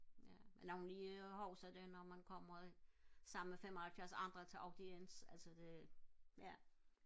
ja også det når man kommer sammen med femoghalvfjerds andre til aftens altså det ja